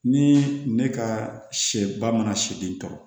Ni ne ka sɛ ba mana se den tɔɔrɔ